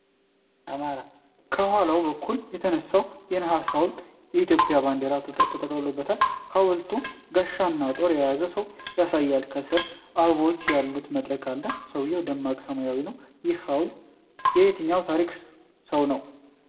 ከኋላ በኩል የተነሳው የነሐስ ሐውልት በኢትዮጵያ ባንዲራ ተጠቅልሎአል። ሐውልቱ ጋሻና ጦር የያዘውን ሰው ያሳያል። ከስር አበቦች ያሉት መድረክ አለ። ሰማዩ ደማቅ ሰማያዊ ነው። ይህ ሐውልት የየትኛው ታሪካዊ ሰው ነው?